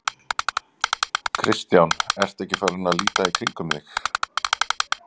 Kristján: Ertu ekki farinn að líta í kringum þig?